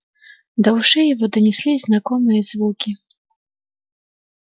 до ушей его донеслись знакомые звуки